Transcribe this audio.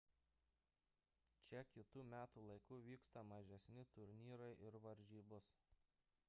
čia kitu metų laiku vyksta mažesni turnyrai ir varžybos